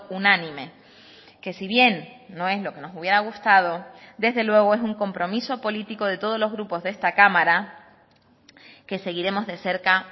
unánime que si bien no es lo que nos hubiera gustado desde luego es un compromiso político de todos los grupos de esta cámara que seguiremos de cerca